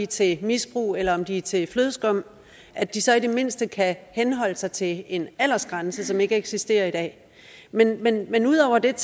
til misbrug eller om de er til flødeskum at de så i det mindste kan henholde sig til en aldersgrænse som ikke eksisterer i dag men men ud over det